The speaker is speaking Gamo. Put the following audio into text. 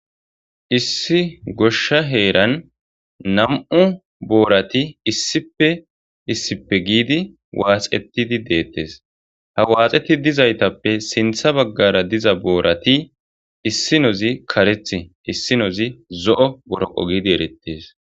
Issi gosha heran namu borathi issippe issippe gedi waxxetidi detesi ha waxxetidi dizayitappe sinta bagare diza borati issinozi kareti issinozi zo' boroqo gidi erettides.